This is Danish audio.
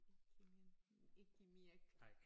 Ikke mere ikke mere